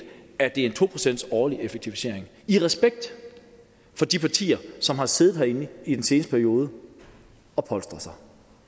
at det er en to procents årlig effektivisering i respekt for de partier som har siddet herinde i den seneste periode og polstret sig